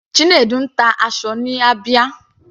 Chinedu ń ta aṣọ ní Abia.